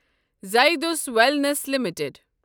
زایڈ س wellness limited